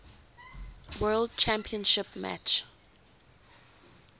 world championship match